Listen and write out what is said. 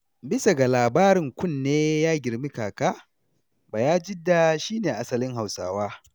Bisa ga labarin kunne ya girma kaka, Bayajidda shi ne asalin Hausawa.